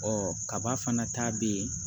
Ɔ kaba fana ta bɛ yen